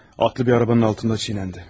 Atlı bir arabanın altında əzildi.